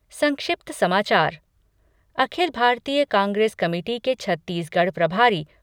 संक्षिप्त समाचार Akhil Bharatiya Congress committee के छत्तीसगढ़ प्रभारी